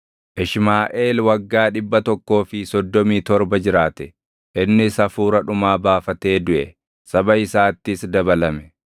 Ishmaaʼeel waggaa dhibba tokkoo fi soddomii torba jiraate; innis hafuura dhumaa baafatee duʼe; saba isaattis dabalame.